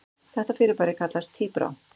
Þetta fyrirbæri kallast tíbrá.